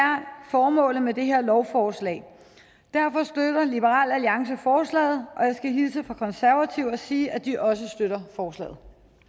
formålet med det her lovforslag og derfor støtter liberal alliance forslaget og jeg skal hilse fra konservative og sige at de også støtter forslaget